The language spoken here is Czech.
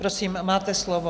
Prosím, máte slovo.